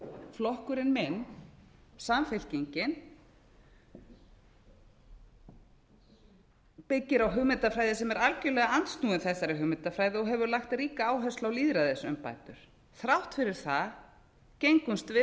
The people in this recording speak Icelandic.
flokkurinn minn samfylkingin byggir á hugmyndafræði sem er algjörlega andsnúin þessari hugmyndafræði og hefur lagt ríka áherslu á lýðræðisumbætur þrátt fyrir það gengumst við